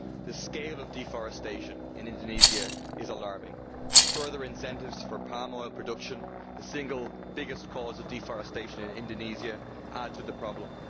The scale of deforestation in Indonesia is alarming. Further incentives for palm oil production the single biggest cause of deforestation in Indonesia add to the problem.